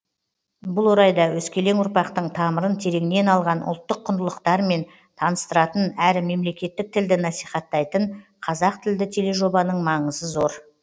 бұл орайда өскелең ұрпақтың тамырын тереңнен алған ұлттық құндылықтармен таныстыратын әрі мемлекеттік тілді насихаттайтын қазақ тілді тележобаның маңызы зор